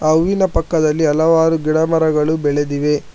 ಆ ಹೂವಿನ ಪಕ್ಕದಲ್ಲಿ ಹಲವಾರು ಗಿಡ ಮರಗಳು ಬೆಳೆದಿವೆ.